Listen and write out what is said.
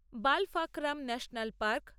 Balpakram national park